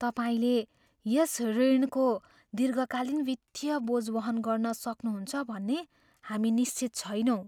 तपाईँले यस ऋणको दीर्घकालीन वित्तीय बोझ वहन गर्न सक्नुहुन्छ भन्ने हामी निश्चित छैनौँ।